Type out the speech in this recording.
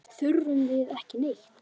Þurfum við ekki neitt?